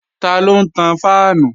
Taló ń tan fáànù?